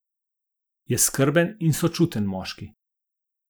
Je skrben in sočuten moški.